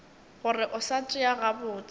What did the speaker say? gore o sa tšea gabotse